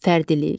Fərdilik.